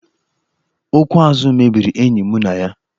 Okwu azụ mebiri enyi mụ na ya.